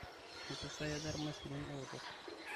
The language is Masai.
kempissai aja irmaisurin ootok